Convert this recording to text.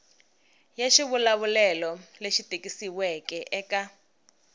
ya xivulavulelo lexi tikisiweke eka